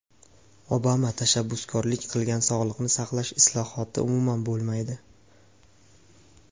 Obama tashabbuskorlik qilgan sog‘liqni saqlash islohoti umuman bo‘lmaydi.